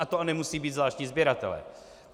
A to nemusí být zvláštní sběratelé.